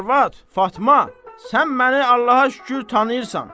Arvad, Fatma, sən məni Allaha şükür tanıyırsan.